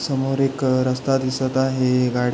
समोर एक रस्ता दिसत आहे गाडी--